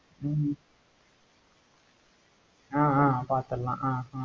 ஹம் ஆஹ் ஆஹ் பாத்திடலாம்.